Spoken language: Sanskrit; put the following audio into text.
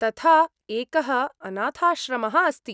तथा एकः अनाथाश्रमः अस्ति।